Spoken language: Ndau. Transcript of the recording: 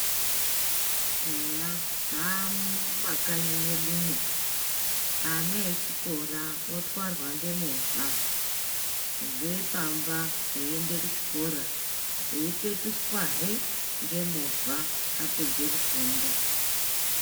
Eya zvaamo mumakanyi medumwo, ana echikora otwarwa ngemovha. Kubvire pamba eyiyende kuchikora, eyipetuswahe ngemovha apedze kufunda.